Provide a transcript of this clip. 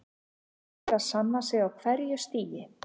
Hann er að sanna sig á hverju stigi.